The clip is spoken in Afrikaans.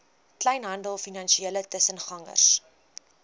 kleinhandel finansiële tussengangers